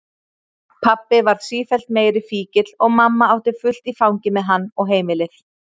Pabbi varð sífellt meiri fíkill og mamma átti fullt í fangi með hann og heimilið.